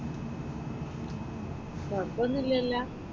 കുഴപ്പൊന്നുമില്ലലോ?